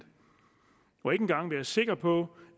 og ikke engang være sikker på